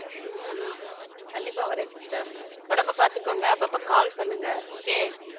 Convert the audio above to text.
உம் கண்டிப்பா வரேன் sister உடம்ப பாத்துக்கோங்க அப்பப்போ call பண்ணுங்க okay